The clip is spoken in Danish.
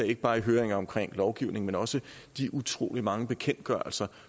ikke bare i høringer om lovgivning men også de utrolig mange bekendtgørelser